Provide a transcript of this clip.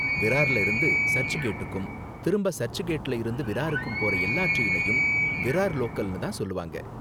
விரார்ல இருந்து சர்ச் கேட்டுக்கும், திரும்ப சர்ச் கேட்ல இருந்து விராருகும் போற எல்லா டிரைனையும் விரார் லோக்கல்னு தான் சொல்லுவாங்க.